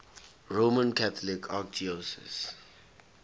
roman catholic archdiocese